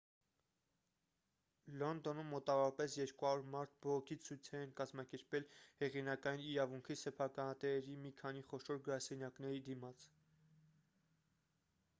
լոնդոնում մոտավորապես 200 մարդ բողոքի ցույցեր են կազմակերպել հեղինակային իրավունքի սեփականատերերի մի քանի խոշոր գրասենյակների դիմաց